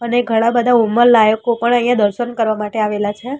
અને ઘણા બધા ઉંમરલાયકો પણ અહીંયા દર્શન કરવા માટે આવેલા છે.